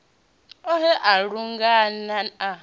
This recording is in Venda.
o he a lungano a